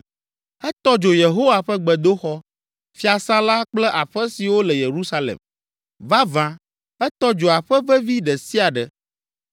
Etɔ dzo Yehowa ƒe gbedoxɔ, fiasã la kple aƒe siwo le Yerusalem. Vavã, etɔ dzo aƒe vevi ɖe sia ɖe.